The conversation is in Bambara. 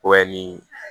ni